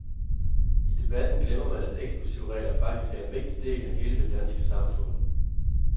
I debatten glemmer man, at eksklusivregler faktisk er en vigtig del af hele det danske samfund.